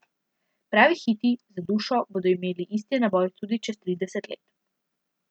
Pravi hiti z dušo bodo imeli isti naboj tudi čez trideset let.